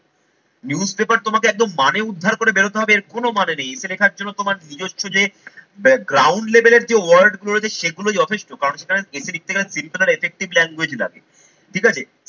news paper তোমাকে একদম মানে উদ্ধার করে বেরোতে হবে এর কোনো মানে নেই। essay লেখার জন্য তোমার নিজস্ব যে ground level এর যে word গুলো রয়েছে সেগুলোই যথেষ্ট কারণ সেখানে essay লিখতে গেলে simple and effective language লাগে ঠিক আছে।